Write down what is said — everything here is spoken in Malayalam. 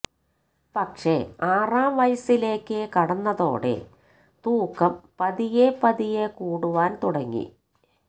പക്ഷേ ആറാം വയസ്സിലേക്ക് കടന്നതോടെ തൂക്കം പതിയെ പതിയെ കൂടുവാന് തുടങ്ങി